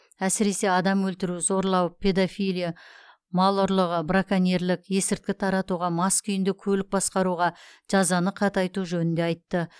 әсіресе адам өлтіру зорлау педофилия мар ұрлығы браконьерлік есірткі таратуға мас күйінде көлік басқаруға жазаны қатайту жөнінде айтты